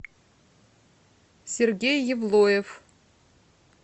сергей евлоев